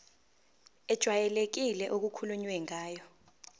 ejwayelekile okukhulunywe ngayo